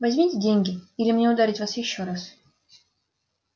возьмёте деньги или мне ударить вас ещё раз